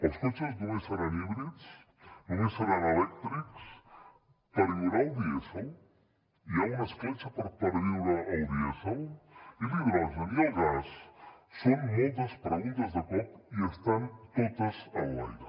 els cotxes només seran híbrids només seran elèctrics perviurà el dièsel hi ha una escletxa per perviure el dièsel i l’hidrogen i el gas són moltes preguntes de cop i estan totes en l’aire